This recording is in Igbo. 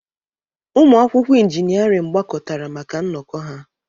Ụmụ akwụkwọ injịniarịn gbakọtara maka nnọkọ ha.